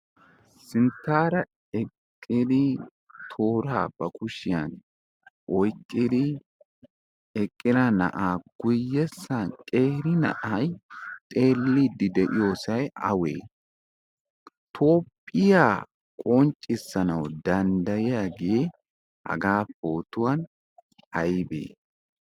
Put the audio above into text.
sinttaara eqqidi tooraa ba kushiyan oyqqidi eqqida na'aa guyessan qeeri na'ay xeelliidi de'iyoosay awee? toophiya qonchiisanawu danddayiyaagee haga pootuwaan aybee?